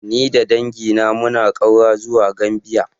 Ni da dangina muna ƙaura zuwa Gambia.